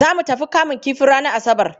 Za mu tafi kamun kifi ranar Asabar.